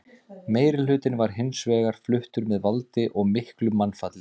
Meirihlutinn var hins vegar fluttur með valdi og miklu mannfalli.